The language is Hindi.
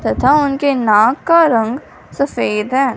तथा उनके नाक का रंग सफेद है।